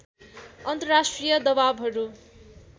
अन्तर्राष्ट्रिय दवाबहरू